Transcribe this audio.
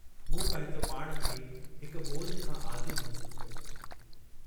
मूं पंहिंजो पाण खे हिक ॿोझ खां आजो महसूस कयो।